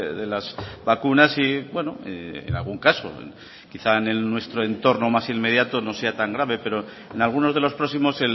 de las vacunas y en algún caso quizá en nuestro entorno más inmediato no sea tan grave pero en algunos de los próximos